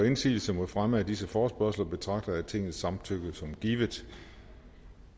indsigelse mod fremme af disse forespørgsler betragter jeg tingets samtykke som givet